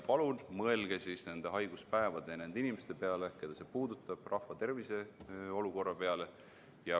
Palun mõelge nende haiguspäevade ja nende inimeste peale, keda see puudutab, rahvatervise olukorra peale.